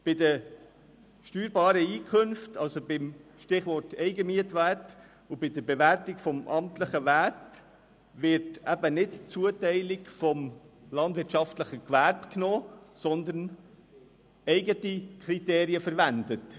Bei den steuerbaren Einkünften unter dem Stichwort «Eigenmietwert» und bei der Bewertung des amtlichen Werts werden nicht die Zuteilung des landwirtschaftlichen Gewerbes, sondern eigene Kriterien verwendet.